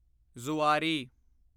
Zuari